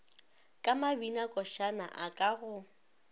ka mabinakošana a ka go